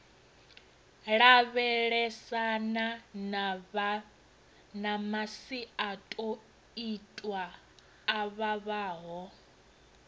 lavhelesana na masiandoitwa a vhavhaho